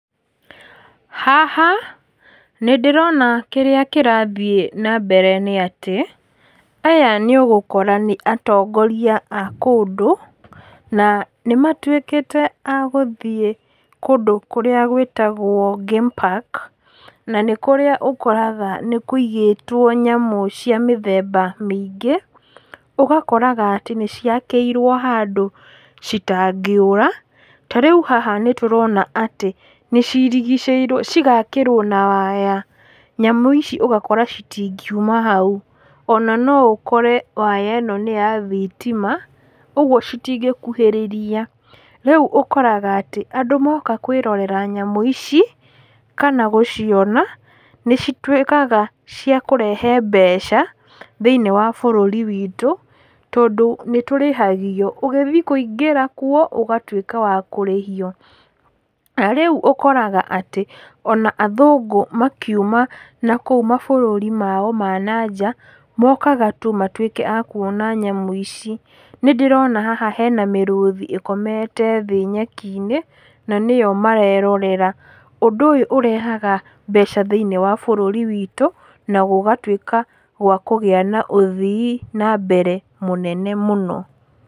Haha, nĩndĩrona kĩrĩa kĩrathiĩ nambere nĩatĩ, aya nĩũgũkora nĩ atongoria a kũndũ, na nĩmatwĩkĩte agũthi kũndũ kũrĩa gwĩtagwo game park na nĩkũrĩa ũkoraga nĩkũigĩtwo nyamũ cia mĩthemba mĩingĩ, ũgakoraga atĩ nĩciakíirwo handũ citangĩũra, ta rĩu haha nĩtũrona atĩ, nĩcirigicĩirwo, cigakĩrwo na waya, nyamũ ici ũgakora citingiuma hau. Ona noũkore waya ĩno nĩya thitima, ũguo citingĩkuhĩrĩria, rĩu ũkoraga atĩ, andũ moka kwĩrorera nyamũ ici, kana gũciona, nĩcitwĩkaga ciakũrehe mbeca, thĩ-inĩ wa bũrũri witũ, tondũ nĩtũrĩhagio, ũgĩthiĩ kũingĩra kuo, ũgatwĩka wa kũrĩhio, na rĩu ũkoraga atĩ ona athũngũ makiuma nakũu mabũrũri mao ma nanjaa, mokaga tu matwĩke a kuona nyamũ ici, nĩndĩrona haha hena mĩrũthi ĩkomete thĩ nyeki-inĩ, na nĩyo marerorera, ũndũ ũyũ ũrehaga mbeca thĩ-inĩ wa bũrũri witũ, na gũgatwĩka gwa kũgĩa na ũthii nambere mũnene mũno.